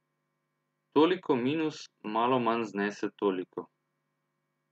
Toliko minus malo manj znese toliko.